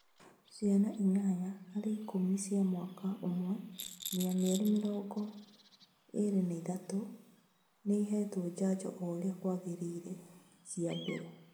Ciana inyanya harĩ ikũmi cia mwaka ũmwe nginya mĩeri mĩrongo ĩĩrĩ na ĩthatũ nĩihetwo njanjo oũrĩa kwagĩrĩire cia mbere